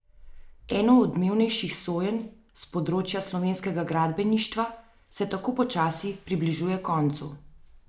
Eno odmevnejših sojenj s področja slovenskega gradbeništva se tako počasi približuje koncu.